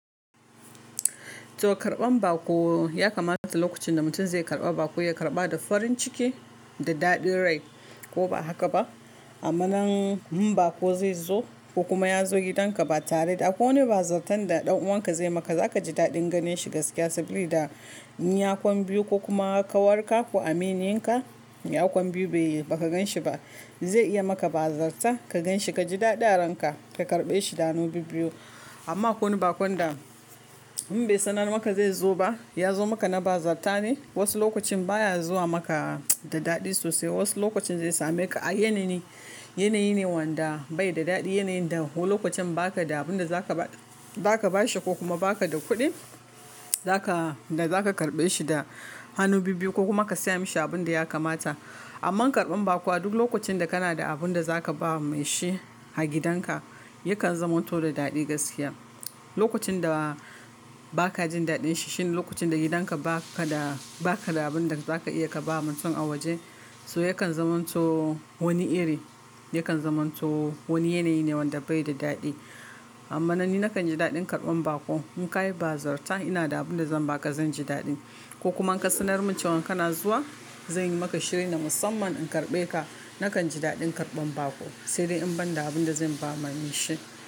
To karban bako ya kamata lokacin da mutum zai karba bako, ya karba da farin ciki da daɗi rai ko ba haka ba? Amman in bako zai zo ko kuma ya zo gidanka ba tare da akwai wani bazarta da ɗan uwanka zai maka, za kaji daɗin ganin shi gaskiya. Saboda da yakon biyu ko kuma kawarka ko amininka yakon biyu bai ka gan shi ba zai iya maka bazarta ka gan shi, ka ji daɗi aranka ka karɓe shi da hanu bibbiyu. Amma ko wane bako da in bai sanar maka zai zo ba, ya zo maka na bazarta ne. Wasu lokacin baya zuwa maka da daɗi sosai. Wasu lokacin zai sameka a yanayi, yanayi ne wanda bai da daɗi. Yanayin da ko lokacin ba ka da abin da zaka ba, zaka bashi ko kuma ba ka da kuɗin da zaka karɓe shi da hanu bibbiyu ko kuma ka saya mashi abin da ya kamata. Amma karban bako a duk lokacin da kana da abin da zaka ba mai shi a gidanka, yakan zama to da daɗi gaskiya. Lokacin da ba ka jin daɗin shi shine lokacin da gidanka ba ka da, ba ka da abin da zaka iya ka ba mutum a waje. So yakan zama to wani iri, yakan zama to wani yanayi ne wanda bai da daɗi. Amma nan ni na kan ji daɗin karban bako in ka yi bazarta ina da abin da zan ba ka, zan ji daɗi ko kuma in ka sanar min cewan kana zuwa, zan yi maka shirye na musamman in karɓe ka. Na kan ji daɗin karban bako, sai dai in ban da abin da zan ba mai shi.